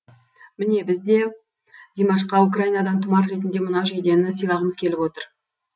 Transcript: міне біз де димашқа украинадан тұмар ретінде мынау жейдені сыйлағымыз келіп отыр